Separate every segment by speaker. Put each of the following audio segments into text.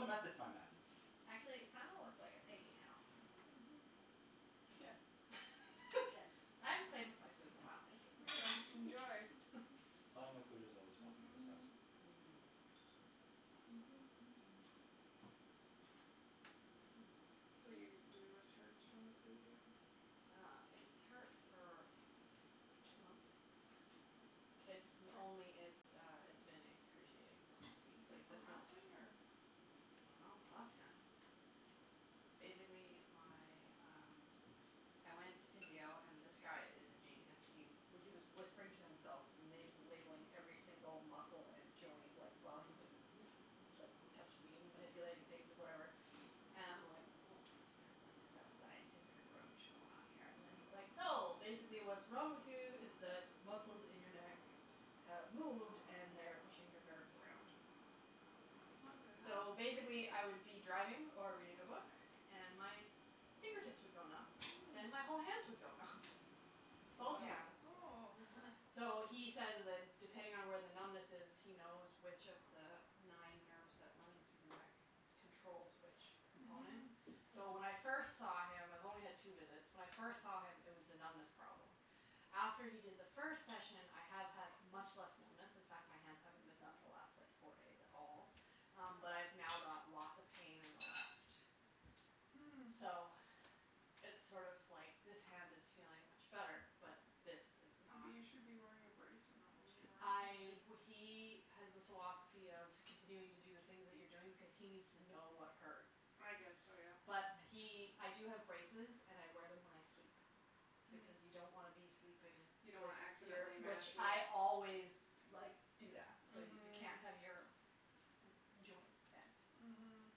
Speaker 1: a method to my madness.
Speaker 2: Actually, it kind of looks like a piggy now.
Speaker 3: Mhm, yeah.
Speaker 4: Yes, I haven't played with my food in a while, thank you.
Speaker 3: Enjoy.
Speaker 1: Playing with food is always welcome in this house.
Speaker 2: Mhm.
Speaker 3: So, your your wrist hurts from the physio.
Speaker 2: Yeah, it's hurt for two months. It's only it's uh, it's been excruciating the last week.
Speaker 3: Is it from ralphing or?
Speaker 2: I don't know. My left hand. Basically, my, um, I went to physio, and this guy is a genius. He he was whispering to himself, la- labelling every single muscle and joint, like, while he was like touching me and manipulating things and whatever and I'm like woah, this guy's like got a scientific approach going on here. And then he's like, so, basically what's wrong with you is that muscles in your neck have moved and they're pushing your nerves around.
Speaker 3: That's not good.
Speaker 2: So basically, I would be driving or reading a book and my fingertips would go numb, then my whole hands would go numb. Both hands.
Speaker 3: Oh.
Speaker 2: So he says that depending on where the numbness is, he knows which of the nine nerves that run through your neck controls which component.
Speaker 3: Mhm.
Speaker 2: So when I first saw him. I've only had two visits. When I first saw him, it was the numbness problem. After he did the first session, I have had much less numbness. In fact, my hands haven't been numb the last like four days at all, but I've now got lots of pain in the left.
Speaker 3: Hm.
Speaker 2: So it's sort of like this hand is feeling much better, but this is not.
Speaker 3: Maybe you should be wearing a brace and not moving it around
Speaker 2: I
Speaker 3: too much.
Speaker 2: he has the philosophy of continuing to do the things that you're doing because he needs to know what hurts.
Speaker 3: I guess so, yeah.
Speaker 2: But he I do have braces and I wear them when I sleep. Because you don't want to be sleeping
Speaker 3: You
Speaker 2: if
Speaker 3: don't want to
Speaker 2: you're.
Speaker 3: accidentally mash
Speaker 2: Which I
Speaker 3: it.
Speaker 2: always like do that so, you can't have your joints bent.
Speaker 3: Mhm.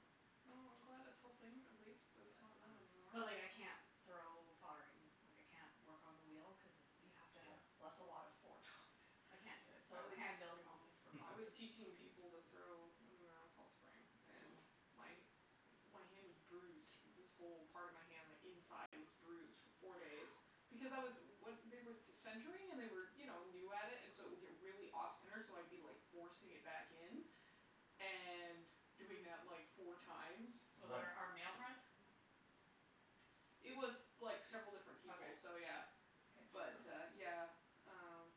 Speaker 3: Well, I'm glad it's helping. At least it's not numb anymore.
Speaker 2: But but like I can't throw pottery, like I can't work on the wheel cuz you have to have- That's a lot of force.
Speaker 1: Oh,
Speaker 2: I
Speaker 1: yeah.
Speaker 2: can't do it, so hand building only for
Speaker 3: I was
Speaker 2: pottery.
Speaker 3: teaching people to throw, when we were on Fall Spring, and my hand was bruised. This whole part of my hand like inside was bruised for four days because I was- They were centering and they were you know new at it and so it would get really off center, so I'd be like forcing it back in and doing that like four times.
Speaker 2: Was it our our male friend?
Speaker 3: It was like several different people, so
Speaker 2: Okay.
Speaker 3: yeah.
Speaker 2: Okay.
Speaker 3: But uh yeah, um,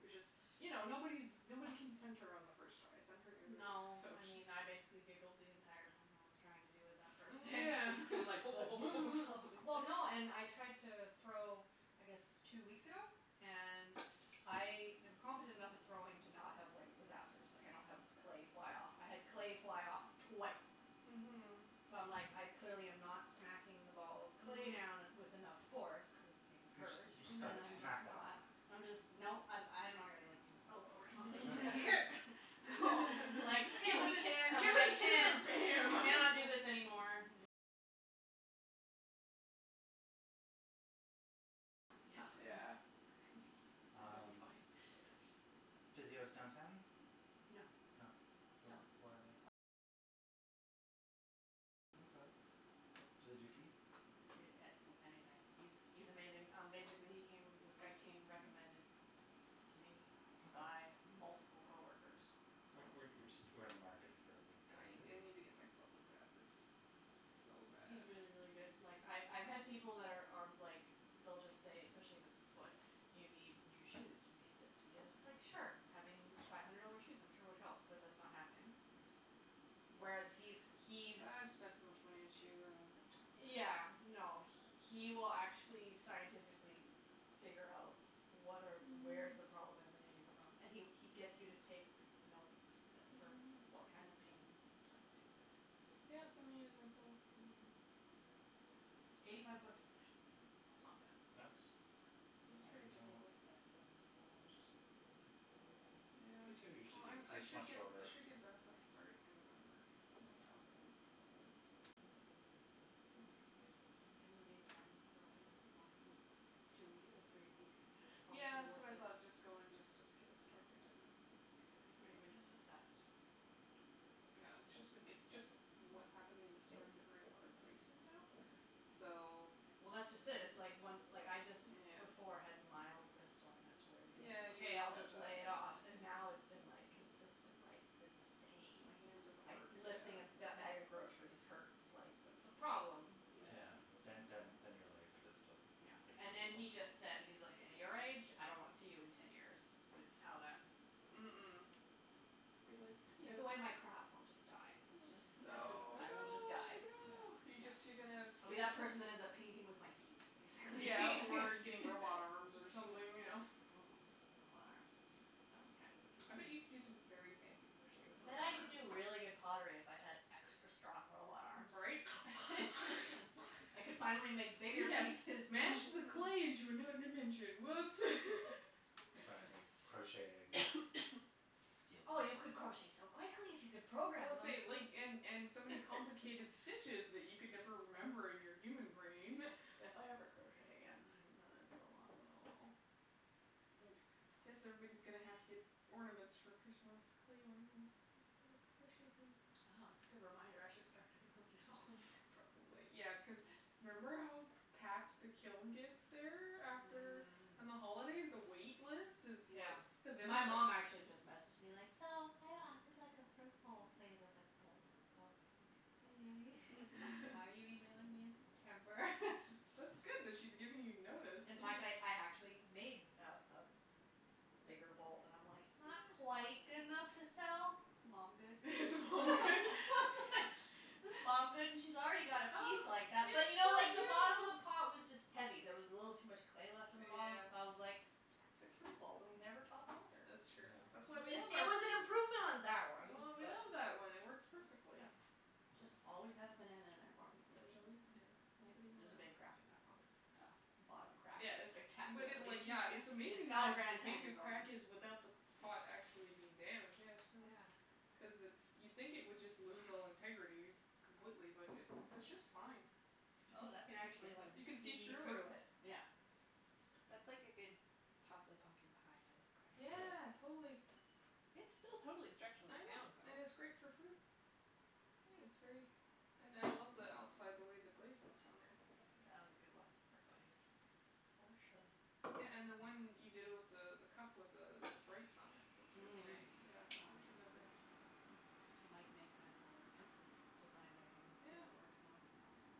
Speaker 3: it was just, you know, nobody's nobody can center on the first try. Centring is
Speaker 2: No.
Speaker 3: so
Speaker 2: I mean, I basically
Speaker 3: just.
Speaker 2: giggled the entire time I was trying to do it that first day.
Speaker 3: Yeah.
Speaker 2: Like Well, no, and I tried to throw I guess two weeks ago. And I am competent enough at throwing to not have like disasters. Like, I don't have clay fly off. I had clay fly off twice.
Speaker 3: Mhm.
Speaker 2: So I'm like I clearly am not smacking the ball of clay down with enough force cuz things
Speaker 1: You just
Speaker 2: hurt.
Speaker 1: you just got to smack that down.
Speaker 2: I'm just no. I- I don't know I gotta like use my elbow or something. Here.
Speaker 3: Give it the
Speaker 2: I
Speaker 3: chair!
Speaker 2: can't
Speaker 3: Bam!
Speaker 2: I cannot do this anymore.
Speaker 1: Yeah. Um,
Speaker 2: Funny.
Speaker 1: physio's downtown?
Speaker 2: No.
Speaker 1: No? Where where are they? Okay. Do they do feet?
Speaker 2: A- Anything. He's he's amazing. Um basically, he came, this guy came recommended to me by multiple coworkers, so.
Speaker 1: We're we're we're just we're in the market for a good guy
Speaker 3: I
Speaker 1: for
Speaker 3: I
Speaker 1: physio.
Speaker 3: need to get my foot looked at. It's so bad.
Speaker 2: He's really, really good. Like, I've I've had people that are are like they'll just say, especially if it's a foot, you need new shoes, you need this, you need this. It's like, sure, having five hundred dollar shoes I'm sure would help, but that's not happening. Whereas he's he's.
Speaker 3: I've spent so much money on shoes. I don't want to talk about
Speaker 2: Yeah,
Speaker 3: it.
Speaker 2: no, he will actually scientifically figure out what are where is the problem emanating from. And he he gets you to take notes for what kind of pain and stuff, too.
Speaker 3: Yeah, send me his info.
Speaker 2: Eighty five bucks a session.
Speaker 3: That's not
Speaker 1: That's
Speaker 3: bad. That's
Speaker 1: that's
Speaker 3: pretty
Speaker 1: pretty
Speaker 4: That's like
Speaker 1: normal.
Speaker 3: typical.
Speaker 4: less than massage therapy.
Speaker 3: Yeah,
Speaker 1: Physio
Speaker 3: well,
Speaker 1: usually is
Speaker 3: I'm
Speaker 1: cuz
Speaker 3: I
Speaker 1: it's
Speaker 3: should
Speaker 1: much
Speaker 3: I
Speaker 1: shorter.
Speaker 3: should get benefits starting in November, if my job works out, so. Then I can use those.
Speaker 2: In the meantime, I'm going once in two or three weeks is probably
Speaker 3: Yeah, that's
Speaker 2: worth
Speaker 3: what I
Speaker 2: it.
Speaker 3: thought. Just go and just get it started and then get it paid
Speaker 2: Or
Speaker 3: for.
Speaker 2: even just assessed.
Speaker 3: Yeah, it's just been it's just what's happening is, it's starting to hurt in other places now, so.
Speaker 2: Yeah, well, that's just it. It's like once like I just before had mild wrist soreness where it would be
Speaker 3: Yeah, you
Speaker 2: okay, I'll
Speaker 3: said
Speaker 2: just lay
Speaker 3: that.
Speaker 2: it off. And now it's been like consistent like this is pain.
Speaker 3: My hand doesn't
Speaker 2: Like,
Speaker 3: work,
Speaker 2: lifting a
Speaker 3: yeah.
Speaker 2: bag of groceries hurts. Like, that's a problem.
Speaker 1: Yeah,
Speaker 3: Yeah, that's
Speaker 1: then then then your life
Speaker 3: awful.
Speaker 1: just doesn't
Speaker 2: No,
Speaker 1: become
Speaker 2: and and he
Speaker 1: functional.
Speaker 2: just said, he's like, at your age, I don't want to see you in ten years with how that's.
Speaker 3: Mm- mm. Be
Speaker 2: Take away my
Speaker 3: like,
Speaker 2: crafts, I'll just
Speaker 3: no!
Speaker 2: die. That's just
Speaker 3: Oh, no,
Speaker 2: I will just
Speaker 3: no,
Speaker 2: die.
Speaker 3: no. You
Speaker 2: No,
Speaker 3: just you're gonna.
Speaker 2: I'll be that person that ends up painting with my feet, basically.
Speaker 3: Yeah, or getting robot arms or something, you know.
Speaker 2: Robot arms. Sounds kind of
Speaker 3: I bet
Speaker 2: appealing.
Speaker 3: you could do some very fancy crochet with
Speaker 2: I
Speaker 3: robot
Speaker 2: bet I could
Speaker 3: arms.
Speaker 2: do really good pottery if I had extra strong robot arms.
Speaker 3: Right?
Speaker 2: I could finally make bigger
Speaker 3: We have
Speaker 2: pieces.
Speaker 3: mashed the clay into another dimension. Whoops.
Speaker 1: Or crocheting.
Speaker 2: Oh, you could crochet so quickly if you could
Speaker 3: Well,
Speaker 2: program them.
Speaker 3: say, like, and and so many complicated stitches that you could never remember in your human brain.
Speaker 2: If I ever crochet again. I haven't done it in so long.
Speaker 3: Oh. I guess everybody's going to have to get ornaments for Christmas, clay ornaments, instead of crocheted things.
Speaker 2: Oh, that's a good reminder. I should start doing those now.
Speaker 3: Probably. Yeah, cuz remember how packed the kiln gets there after? On the holidays, the wait list is
Speaker 2: Yeah.
Speaker 3: like.
Speaker 2: My mom actually just messaged me, like, so, I would like a fruit bowl, please. I was like oh, oh, okay. Why are you emailing me in September?
Speaker 3: That's good that she's giving you notice.
Speaker 2: In fact, I I actually made a a bigger bowl. And I'm like it's not quite good enough to sell, it's mom good.
Speaker 3: It's mom good.
Speaker 2: It's mom good, and she's already got a piece like that, but you know like the bottom of the pot was just heavy. There was a little too much clay left in the bottom, so I was like it's a perfect fruit bowl, it will never topple over.
Speaker 3: That's true. That's why we love our.
Speaker 2: It was an improvement on that one.
Speaker 3: We
Speaker 2: But.
Speaker 3: love that one, it works perfectly.
Speaker 2: Just always have a banana in there for me,
Speaker 3: There's
Speaker 2: please.
Speaker 3: always a banana. Nobody will.
Speaker 2: There's a big crack in that pot.
Speaker 4: Oh.
Speaker 2: The bottom crack is
Speaker 3: Yes but
Speaker 2: spectacular.
Speaker 3: it, like, yeah. It's
Speaker 2: It's
Speaker 3: amazing
Speaker 2: got a
Speaker 3: how
Speaker 2: Grand
Speaker 3: big the
Speaker 2: Canyon going.
Speaker 3: crack is without the pot actually being damaged. Yeah, show her.
Speaker 2: Yeah.
Speaker 3: Cuz it's you'd think it would just lose all integrity completely, but it it's just fine.
Speaker 4: Oh, that's a
Speaker 2: You can
Speaker 4: pretty
Speaker 2: actually
Speaker 4: good one.
Speaker 2: like
Speaker 3: You can see
Speaker 2: see
Speaker 3: through it.
Speaker 2: through it, yeah.
Speaker 4: That's like a good top of the pumpkin pie type crack.
Speaker 3: Yeah, totally.
Speaker 4: It's still totally structurally
Speaker 3: I know,
Speaker 4: sound, though.
Speaker 3: and it's great for fruit. It's very.
Speaker 4: Nice.
Speaker 3: And I love the outside, the way the glaze looks on there.
Speaker 2: Yeah, that was a good one for glaze.
Speaker 4: For sure.
Speaker 3: Yeah, and the one you did with the the cup with the the breaks on it, it looks really nice,
Speaker 2: The
Speaker 3: yeah.,
Speaker 2: one
Speaker 3: it
Speaker 2: I
Speaker 3: turned out
Speaker 2: just
Speaker 3: good.
Speaker 2: finished.
Speaker 3: Yeah.
Speaker 2: I might make that another consistent design I do
Speaker 3: Yeah.
Speaker 2: cuz it worked well.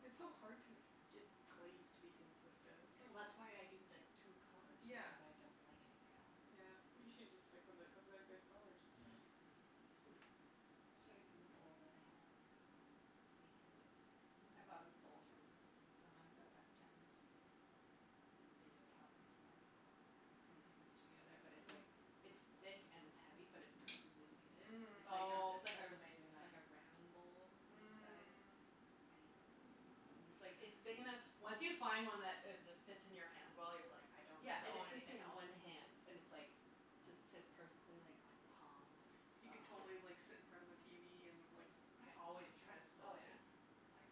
Speaker 3: It's so hard to get glaze to be consistent, it's like.
Speaker 2: Well, that's why I do, like, two colours
Speaker 3: Yeah.
Speaker 2: because I don't like anything else.
Speaker 3: Yeah, you should just stick with it cuz they're good colours.
Speaker 1: Yeah.
Speaker 4: I should show you the bowl that I have next weekend. I bought this bowl from someone at the west end. They do a pottery sale cuz they have a pretty decent studio there, but it it's like it's thick and it's heavy, but it's perfectly weighted. It's like,
Speaker 2: Oh,
Speaker 4: it's like,
Speaker 2: that's amazing,
Speaker 4: it's
Speaker 2: then.
Speaker 4: like a ramen bowl size.
Speaker 3: Mm.
Speaker 4: I eat everything out of that. And it's like it's big enough.
Speaker 2: Once you find one that is just fits in your hand well, you're like I don't need
Speaker 4: Yeah,
Speaker 2: to
Speaker 4: and it
Speaker 2: own
Speaker 4: fits
Speaker 2: anything
Speaker 4: in
Speaker 2: else.
Speaker 4: one hand and it's like just sits perfectly like on your palm and just.
Speaker 3: So you can totally like sit in front of the tv and like.
Speaker 2: I always try to
Speaker 4: Oh
Speaker 2: spill
Speaker 4: yeah.
Speaker 2: soup.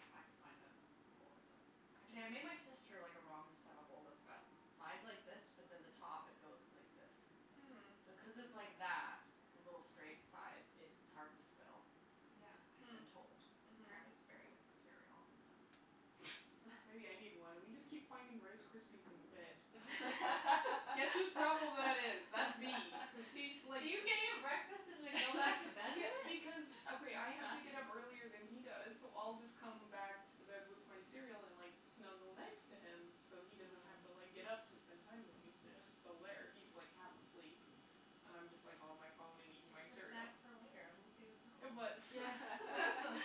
Speaker 2: If I could find a bowl that doesn't. Actually, I made my sister like a ramen style bowl that's got sides like this, but then the top it goes like this.
Speaker 3: Mm.
Speaker 2: So cuz it's like that with little straight sides, it's hard to spill, I have been told.
Speaker 3: Yeah.
Speaker 2: Apparently, it's really good for
Speaker 3: Mm.
Speaker 2: cereal. But.
Speaker 3: Mhm. Maybe I need one. We just keep finding Rice Krispies in the bed. Guess whose problem that is? That's me cuz he's like.
Speaker 2: Do you get your breakfast and then go back to bed with
Speaker 3: Yeah,
Speaker 2: it?
Speaker 3: because,
Speaker 2: That's
Speaker 3: okay. I have to get up earlier
Speaker 2: fascinating.
Speaker 3: than he does, so I'll just come back to the bed with my cereal and like snuggle next to him so he doesn't have to like get up to spend time with me. He's
Speaker 1: Yeah.
Speaker 3: just still there. He's like half asleep and I'm just like on my phone and eating my
Speaker 2: It's just a
Speaker 3: cereal.
Speaker 2: snack for later. I don't see the problem.
Speaker 3: But.
Speaker 4: Yeah.
Speaker 3: But it's like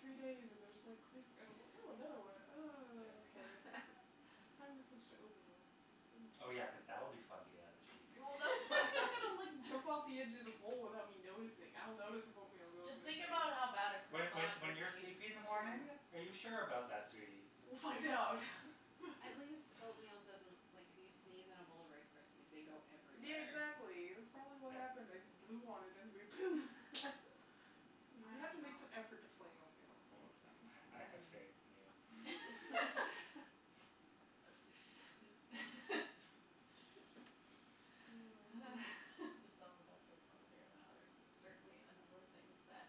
Speaker 3: three days and there's like crisp. And I go, ew another one, and
Speaker 1: Yeah.
Speaker 3: okay. It's time to switch to oatmeal.
Speaker 1: Oh, yeah, cuz that'll be fun to get out of the sheets.
Speaker 3: Well, that's that's not going to like jump off of the edge of the bowl without me noticing. I'll notice if oatmeal goes
Speaker 2: Just think
Speaker 3: missing.
Speaker 2: about how bad a
Speaker 1: When when
Speaker 2: croissant
Speaker 1: when
Speaker 2: would
Speaker 4: That's
Speaker 1: you're
Speaker 2: be.
Speaker 1: sleepy in the morning?
Speaker 4: true.
Speaker 1: Are you sure about that, sweetie?
Speaker 3: We'll find out.
Speaker 4: At least oatmeal doesn't, like, if you sneeze in a bowl of Rice Krispies, they go
Speaker 3: Yeah,
Speaker 4: everywhere.
Speaker 3: exactly. That's probably what happened. I just blew on it and it went poom! You have to make some effort to fling oatmeal, that's all I'm saying.
Speaker 1: I have faith in you.
Speaker 3: Mm.
Speaker 4: Some of us are clumsier than others. There's certainly a number of things that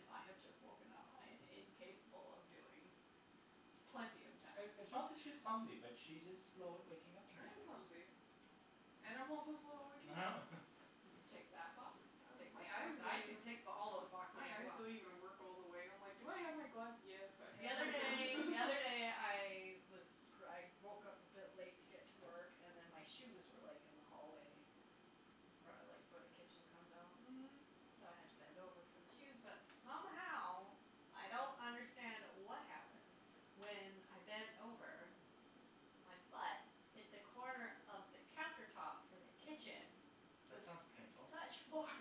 Speaker 4: if I have just woken up, I am incapable of doing with plenty of time.
Speaker 1: It's not that she's clumsy, but she's just slow at waking up in the
Speaker 3: I am
Speaker 1: mornings.
Speaker 3: clumsy. And I'm also slow at waking up.
Speaker 2: Just tick that box, tick
Speaker 3: My
Speaker 2: this
Speaker 3: eyes
Speaker 2: one. I
Speaker 3: don't even.
Speaker 2: could tick all those boxes
Speaker 3: My
Speaker 2: as
Speaker 3: eyes
Speaker 2: well.
Speaker 3: don't even work all the way. I'm like, do I have my glass? Yes, I
Speaker 2: The
Speaker 3: have
Speaker 2: other
Speaker 3: my
Speaker 2: day,
Speaker 3: glasses.
Speaker 2: the other day I was I woke up a bit late to get to work and then my shoes were like in the hallway in front of like where the kitchen comes out.
Speaker 3: Mm.
Speaker 2: So I had to bend over for the shoes, but somehow I don't understand what happened. When I bent over, my butt hit the corner of the counter top for the kitchen.
Speaker 1: That
Speaker 2: With
Speaker 1: sounds painful.
Speaker 2: such force.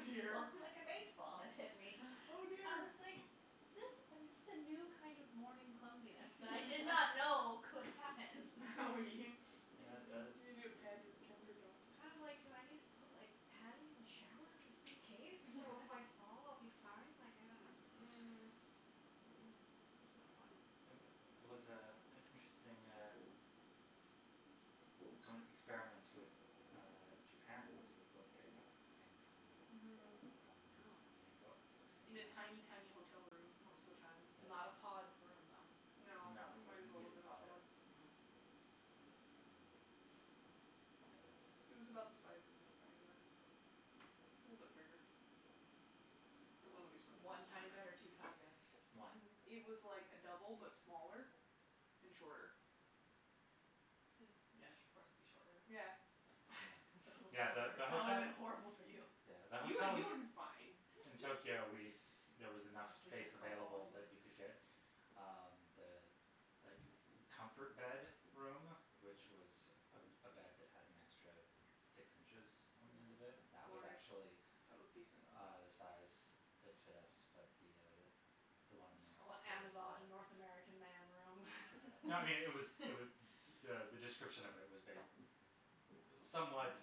Speaker 3: Oh, dear.
Speaker 2: looked like a baseball had hit me.
Speaker 3: Oh,
Speaker 2: I
Speaker 3: dear.
Speaker 2: was like is this, this is a new kind of morning clumsiness that I did not know could happen.
Speaker 3: Oh.
Speaker 1: That
Speaker 3: You,
Speaker 1: that
Speaker 3: you need
Speaker 1: is.
Speaker 3: to pad your counter tops.
Speaker 2: I'm like, do I need to put like padding in the shower just in case, so if I fall I'll be fine? Like, I don't know.
Speaker 3: Mm. That's not fun.
Speaker 1: It was was, uh, an interesting uh experiment with Japan because we were both getting up at the same time
Speaker 3: Mhm.
Speaker 1: and
Speaker 2: Oh.
Speaker 1: going out at the same
Speaker 3: In a tiny,
Speaker 1: time.
Speaker 3: tiny hotel room most of the time.
Speaker 2: Not a
Speaker 1: Yeah.
Speaker 2: pod room, though?
Speaker 3: No,
Speaker 1: No,
Speaker 3: it
Speaker 1: it was
Speaker 3: might as well
Speaker 1: bigger
Speaker 3: have
Speaker 1: than a
Speaker 3: been a
Speaker 1: pod.
Speaker 3: pod.
Speaker 1: Well, I guess.
Speaker 3: It was about the size of this dining room. A little bit bigger. The one that we spent the
Speaker 2: One
Speaker 3: most time
Speaker 2: tiny bed or
Speaker 3: in.
Speaker 2: two tiny beds?
Speaker 1: One.
Speaker 3: It was like a double but smaller and shorter.
Speaker 2: Mm. Yes, of course it would be shorter.
Speaker 3: Yeah.
Speaker 1: Yeah, yeah, the
Speaker 2: That would have
Speaker 1: hotel.
Speaker 2: been horrible for you.
Speaker 1: Yeah, the
Speaker 3: You
Speaker 1: hotel
Speaker 3: you
Speaker 1: in
Speaker 3: would have been fine.
Speaker 1: in Tokyo, we there was enough
Speaker 2: I sleep in a
Speaker 1: space
Speaker 2: curled ball
Speaker 1: available that
Speaker 2: anyway.
Speaker 1: we could get um the like comfort bed room, which was a a bed that had an extra six inches on the end of it, that was
Speaker 3: Glorious.
Speaker 1: actually
Speaker 3: That was decent.
Speaker 1: uh the size that fit us, but the the one
Speaker 2: Just call it the Amazon North American Man room.
Speaker 1: No, I mean, it was, it was the the description of it was bas- it was somewhat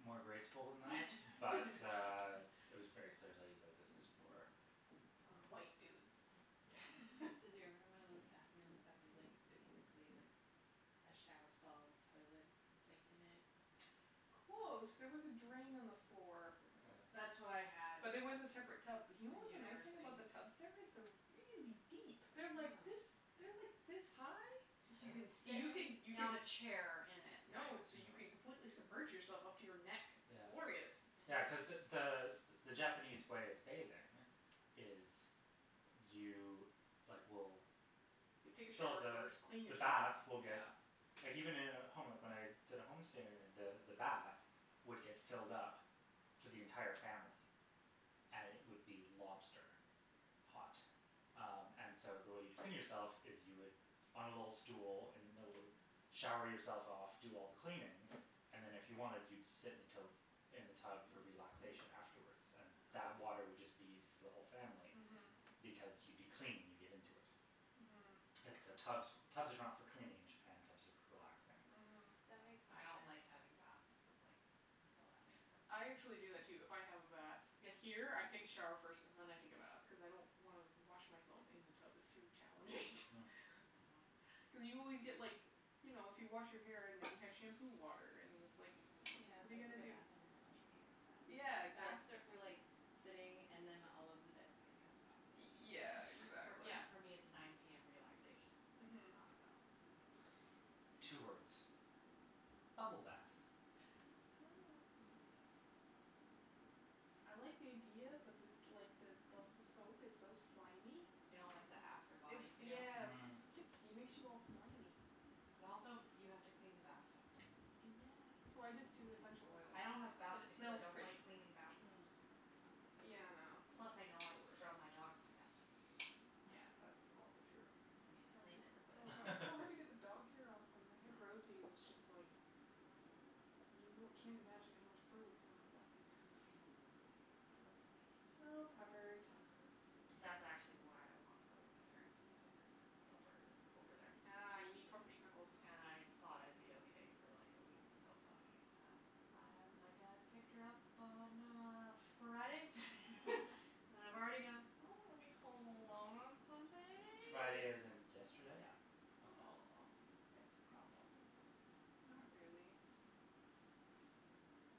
Speaker 1: more graceful than that, but it was very clearly, like, this is for
Speaker 2: White dudes
Speaker 1: Um,
Speaker 4: Did you ever have
Speaker 1: yeah.
Speaker 4: one of those bathrooms that was like basically like a shower stall with toilet and sink in it?
Speaker 3: Close. There was a drain on the floor.
Speaker 2: That's what I
Speaker 1: Yeah.
Speaker 2: had
Speaker 3: But there was a separate tub. But you know
Speaker 2: in
Speaker 3: what the nice thing
Speaker 2: university.
Speaker 3: about the tubs? There is they're really deep. They're like this,
Speaker 4: Huh.
Speaker 3: they're like this high.
Speaker 2: you can
Speaker 1: Yeah.
Speaker 2: sit
Speaker 3: You can, you
Speaker 2: on
Speaker 3: can.
Speaker 2: a chair in it kind of
Speaker 3: No, so you can
Speaker 2: like
Speaker 3: completely submerge yourself up to your neck. It's
Speaker 1: Yeah.
Speaker 3: glorious.
Speaker 1: Yeah, cuz the the the Japanese way of bathing is you like will
Speaker 3: You take a
Speaker 1: Fill up
Speaker 3: shower
Speaker 1: the
Speaker 3: first, clean
Speaker 1: the
Speaker 3: yourself,
Speaker 1: bath will get
Speaker 3: yeah.
Speaker 1: Like, even in a home, like when I did a home stay the the bath would get filled up for the entire family. And it would be lobster hot. Um, and so, the way you'd clean yourself is you would on a little stool in the middle of the, shower yourself off, do all the cleaning and then, if you wanted, you'd sit in the tote, in the tub for relaxation afterwards. And that
Speaker 2: Ah.
Speaker 1: water would just be used for the whole family.
Speaker 3: Mhm.
Speaker 1: Because you'd be clean when you get into it.
Speaker 3: Mhm.
Speaker 1: And so so tubs for tubs are not for cleaning in Japan, tubs are for relaxing.
Speaker 3: Mhm.
Speaker 4: That makes more
Speaker 2: I don't like having
Speaker 4: sense.
Speaker 2: baths, like, so that makes sense to
Speaker 3: I actually do
Speaker 2: me.
Speaker 3: that, too. If I have a bath here, I take a shower first and then I take a bath cuz I don't wanna wash myself in the tub; it's too challenging.
Speaker 1: Hm.
Speaker 2: Mhm.
Speaker 3: Cuz you always get, like, you know, if you wash your hair and then you have shampoo water and then it's like
Speaker 4: Yeah, I
Speaker 3: what are you gonna
Speaker 4: take a
Speaker 3: do?
Speaker 4: bath and then wash my hair in the bath.
Speaker 3: Yeah, exactly.
Speaker 4: Baths are for like sitting and then all of the dead skin comes off
Speaker 3: Y-
Speaker 4: really easy.
Speaker 3: yeah, exactly.
Speaker 2: Yeah, for me it's nine PM. Relaxation. Like, it's
Speaker 3: Mhm.
Speaker 2: not about. Yeah.
Speaker 1: Two words: bubble bath.
Speaker 3: I don't like bubble baths. I like the idea, but this like the bubble soap is so slimy.
Speaker 2: You don't like the after body
Speaker 3: It's
Speaker 2: feel?
Speaker 3: yes it
Speaker 1: Mm.
Speaker 3: sticks, it makes you all slimy.
Speaker 4: Mm.
Speaker 2: And also, you have to clean the bath tub.
Speaker 4: Yeah.
Speaker 3: So I just do essential oils
Speaker 2: Yeah, I don't have
Speaker 3: because
Speaker 2: baths
Speaker 3: it
Speaker 2: because I
Speaker 3: smells
Speaker 2: don't
Speaker 3: pretty.
Speaker 2: like cleaning bath
Speaker 4: Mm.
Speaker 2: tubs. It's not my
Speaker 3: Yeah, I
Speaker 2: favorite. Plus,
Speaker 3: know,
Speaker 2: I know
Speaker 3: it's
Speaker 2: I've
Speaker 3: the
Speaker 2: scrubbed my
Speaker 3: worst.
Speaker 2: dog in my bath tub.
Speaker 3: Yeah, that's also true.
Speaker 2: I mean, I clean it,
Speaker 3: Oh,
Speaker 2: but.
Speaker 3: god, it's so hard to get the dog hair off. When we had Rosie, it was just like you wou- can't imagine how much fur would come out of that thing.
Speaker 2: Oh, puppies.
Speaker 3: Oh, puppers.
Speaker 2: Puppers. That's actually
Speaker 1: Yeah.
Speaker 2: why I want to go to my parents' tonight is cuz pupper is over there.
Speaker 3: Ah, you need proper snuggles.
Speaker 2: And I thought I'd be okay for like a week without puppy and, um, my dad picked her up on, uh, Friday and I've already gone I don't want to be home alone on
Speaker 1: Friday as
Speaker 2: Sunday.
Speaker 1: in yesterday?
Speaker 2: Yeah.
Speaker 1: Okay.
Speaker 3: Aw.
Speaker 2: It's a problem.
Speaker 3: Not really.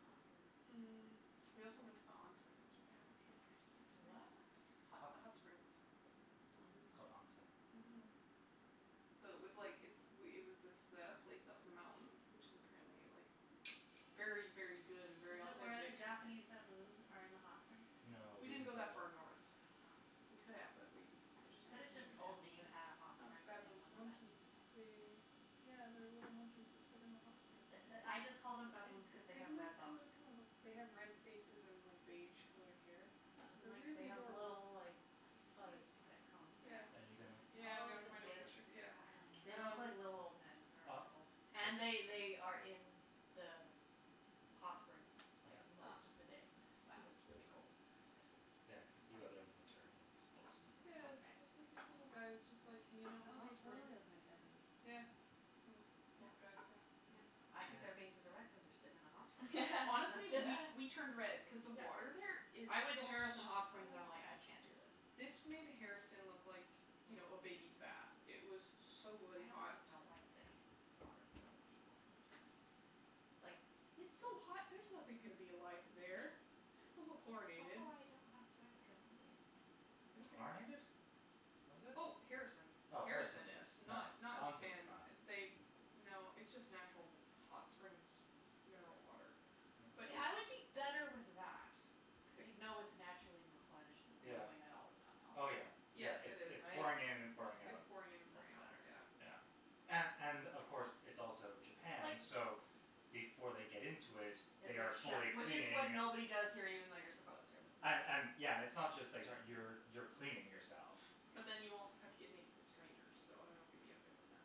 Speaker 2: Popper.
Speaker 3: Mm. We also went to the onsen in Japan, which was interesting
Speaker 2: To what?
Speaker 3: experience. Hot
Speaker 1: Hot.
Speaker 3: hot springs.
Speaker 1: It's
Speaker 4: Mm.
Speaker 1: called onsen.
Speaker 3: Mhm. So it was like it's it was this place up in the mountains, which is apparently like very, very good and very
Speaker 2: Is it where the
Speaker 3: authentic.
Speaker 2: Japanese baboons are in the hot springs?
Speaker 1: No, we
Speaker 3: We didn't
Speaker 1: didn't
Speaker 3: go
Speaker 1: go
Speaker 3: that far
Speaker 1: there.
Speaker 3: north.
Speaker 2: Oh.
Speaker 3: We could have but we just
Speaker 4: There's
Speaker 2: You could have
Speaker 4: Japanese
Speaker 2: just told me you
Speaker 4: baboons?
Speaker 2: had a hot
Speaker 3: Um,
Speaker 2: spring things
Speaker 3: baboons,
Speaker 2: with
Speaker 3: monkeys.
Speaker 2: baboons.
Speaker 3: They
Speaker 4: Oh.
Speaker 3: Yeah, they're little monkeys that sit in the hot springs
Speaker 2: The
Speaker 3: and
Speaker 2: the I just called them baboons cuz they
Speaker 3: They've
Speaker 2: have red
Speaker 3: look
Speaker 2: bums.
Speaker 3: kinda kinda look, they have red faces and like beige colored hair.
Speaker 4: Huh.
Speaker 2: And
Speaker 3: They're
Speaker 2: like, they
Speaker 3: really
Speaker 2: have
Speaker 3: adorable.
Speaker 2: little, like, fuzz
Speaker 4: Cute.
Speaker 2: that comes like this.
Speaker 1: Are you gonna?
Speaker 3: Yeah, I'm going to find a picture, yeah.
Speaker 2: They look
Speaker 3: um
Speaker 2: like little old men. They
Speaker 4: Ah.
Speaker 2: are adorable. And they they are in the hot springs like
Speaker 1: Yeah.
Speaker 2: most of the day
Speaker 4: Huh.
Speaker 2: cuz it's really cold.
Speaker 1: Yeah, yeah cuz you go there in the winter and it's full snow.
Speaker 3: Yeah, it's it's like these little guys just like hanging out in the
Speaker 4: Oh,
Speaker 3: hot
Speaker 4: they
Speaker 3: springs.
Speaker 4: totally look like baboons.
Speaker 3: Yeah. Well, these guys, yeah.
Speaker 2: Yeah. I think their faces are red
Speaker 1: Yeah.
Speaker 2: cuz they're sitting in a hot spring. That's
Speaker 3: Honestly,
Speaker 2: just.
Speaker 3: we we turned red
Speaker 4: Yeah.
Speaker 3: cuz the
Speaker 2: Yeah.
Speaker 3: water there is
Speaker 2: I went to
Speaker 3: so
Speaker 2: Harrison
Speaker 3: hot.
Speaker 2: Hot Springs and I'm like, "I can't do this".
Speaker 3: This made Harrison look like, you
Speaker 2: Mhm.
Speaker 3: know, a baby's bath. It was so bloody
Speaker 2: I
Speaker 3: hot.
Speaker 2: also don't like sitting in water with other people. That's just me. Like.
Speaker 3: It's so hot; there's nothing gonna be alive in there. It's also
Speaker 2: It's
Speaker 3: chlorinated.
Speaker 2: also why I don't know how to swim cuz
Speaker 3: Okay.
Speaker 1: Chlorinated? Was it?
Speaker 3: Oh, Harrison.
Speaker 1: Oh, Harrison
Speaker 3: Harrison
Speaker 1: yes.
Speaker 3: is,
Speaker 1: No,
Speaker 3: not not
Speaker 1: the onsen
Speaker 3: Japan.
Speaker 1: is not.
Speaker 3: They, no, it's just natural hot springs mineral water. But
Speaker 2: Yeah,
Speaker 3: it's
Speaker 2: I would be
Speaker 1: Yes.
Speaker 2: better with that cuz you know it's naturally replenished and
Speaker 1: Yeah.
Speaker 2: moving out all the time,
Speaker 1: Oh, yeah,
Speaker 2: right?
Speaker 3: Yes,
Speaker 1: yeah,
Speaker 3: it
Speaker 1: it's
Speaker 3: is.
Speaker 1: it's
Speaker 3: It's it's
Speaker 1: pouring in and pouring out.
Speaker 3: pouring in and pouring
Speaker 2: That's
Speaker 3: out,
Speaker 2: better.
Speaker 3: yeah.
Speaker 1: Yeah. And and, of course, it's also
Speaker 2: Like.
Speaker 1: Japan, so before they get into it,
Speaker 2: That
Speaker 1: they are
Speaker 2: they've
Speaker 1: fully
Speaker 2: showered. Which is when
Speaker 1: cleaning.
Speaker 2: nobody does here even though you're supposed to.
Speaker 1: And and, yeah. It's not just that how you you're cleaning yourself.
Speaker 3: But then you also have to get naked with strangers, so I don't know if you'd be okay with that.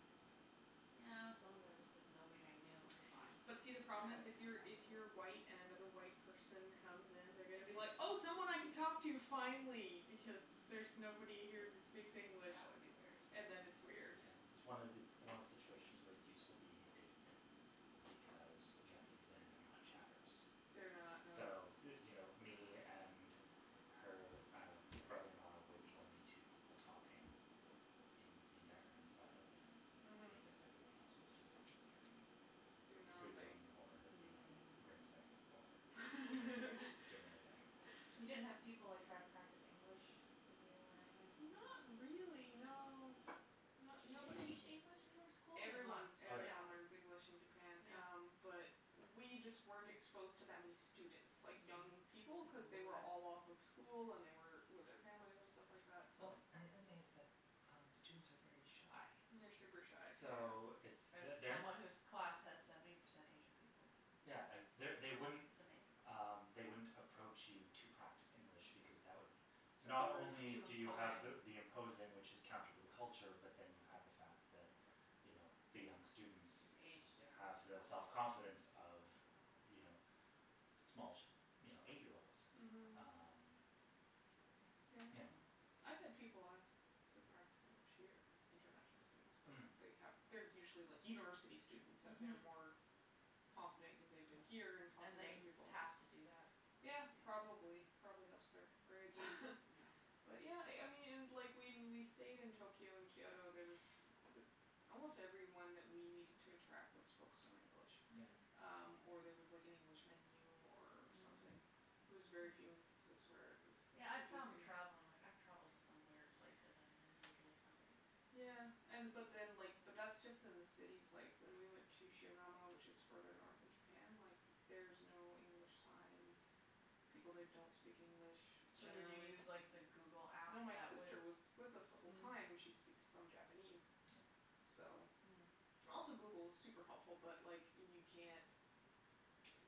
Speaker 2: Yeah, as long as I was with nobody I knew, that's fine.
Speaker 3: But see, the
Speaker 4: I wouldn't have a
Speaker 3: problem is, if you're, if you're
Speaker 4: problem with it.
Speaker 3: white and another white person comes in, they're going to be like, oh, someone I can talk to finally, because there's nobody here who speaks English.
Speaker 2: That would be weird.
Speaker 3: And then it's weird.
Speaker 1: Yeah, it's one it's one of the situations where it's useful being a dude because Japanese men are not chatterers.
Speaker 3: They're not,
Speaker 1: So,
Speaker 3: no.
Speaker 1: you know, me and her uh brother in law were the only two people talking in the entire men's side of the
Speaker 3: Mhm.
Speaker 1: onsen. Because everyone else was just in there and
Speaker 3: Doing their own thing.
Speaker 1: sleeping or, you know,
Speaker 2: Mm.
Speaker 1: grimacing or or doing their thing.
Speaker 2: You didn't have people like try to practice English with you or anything?
Speaker 3: Not really, no.
Speaker 2: Do they
Speaker 3: Nobody
Speaker 2: teach
Speaker 3: k-
Speaker 2: English in their school? They
Speaker 3: Everyone,
Speaker 2: must,
Speaker 1: Oh, yeah.
Speaker 2: yeah.
Speaker 3: everyone learns English in Japan um
Speaker 2: Yeah.
Speaker 3: But we just weren't exposed to that many students, like young people, cuz they were all off of school and they were with their family and stuff like that, so.
Speaker 1: Well, and the other thing is that uh students are very shy.
Speaker 3: They're super shy,
Speaker 1: So
Speaker 3: yeah.
Speaker 1: it's
Speaker 2: As
Speaker 1: they're they're not
Speaker 2: someone whose class has seventy percent Asian people, yes.
Speaker 1: Yeah, they
Speaker 2: It's
Speaker 1: they wouldn't
Speaker 2: amazing.
Speaker 1: Um, they wouldn't approach you to practice English because that would Not only
Speaker 2: Too
Speaker 1: do you have the
Speaker 2: imposing.
Speaker 1: imposing, which is counter to the culture, but then you have the fact that, you know, the young students
Speaker 2: An age
Speaker 1: have
Speaker 2: difference and
Speaker 1: the self
Speaker 2: all that.
Speaker 1: confidence of, you know, small, you know, eight year olds.
Speaker 3: Mhm.
Speaker 1: Um, you know
Speaker 3: Yeah. I've had people ask to practice English here, international students, but
Speaker 1: Hm.
Speaker 3: they have they're usually, like, university students and they're
Speaker 2: Mhm.
Speaker 3: more confident cuz they've been here and talk
Speaker 2: And
Speaker 3: with
Speaker 2: they
Speaker 3: other people.
Speaker 2: have to do that.
Speaker 3: Yeah,
Speaker 2: Yeah.
Speaker 3: probably. It probably helps their grades
Speaker 2: Yeah.
Speaker 3: But yeah, I I mean, and like, when we stayed in Tokyo and Kyoto, there was almost everyone that we needed to interact with spoke some English.
Speaker 1: Yeah.
Speaker 3: Um, or there was like an
Speaker 2: Mm.
Speaker 3: English menu or something.
Speaker 2: Mm.
Speaker 3: It was very few instances where it was
Speaker 2: Yeah, I found
Speaker 3: confusing.
Speaker 2: travelling, like, I've travelled to some weird places and there's usually somebody
Speaker 3: Yeah, and but
Speaker 2: that.
Speaker 3: then, like, but that's just in the cities. Like, when we went to Shigamo, which is further north in Japan, like, there's no English signs. People there don't speak English
Speaker 2: So did you
Speaker 3: generally.
Speaker 2: use, like the Google app
Speaker 3: No, my
Speaker 2: that would
Speaker 3: sister was with us the whole
Speaker 2: Mm.
Speaker 3: time, and she speaks some Japanese,
Speaker 1: Yeah.
Speaker 3: so.
Speaker 2: Mm.
Speaker 3: Also, Google is super helpful, but like, you can't